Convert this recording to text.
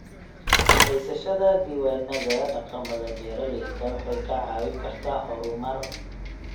Haysashada diiwaanada dhaqamada beeralayda waxay kaa caawin kartaa horumar.